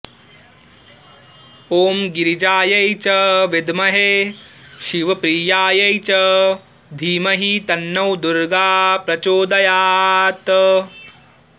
ॐ गिरिजायै च विद्महे शिवप्रियायै च धीमहि तन्नो दुर्गा प्रचोदयात्